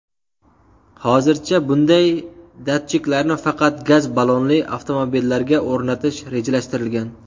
Hozircha bunday datchiklarni faqat gaz ballonli avtomobillarga o‘rnatish rejalashtirilgan.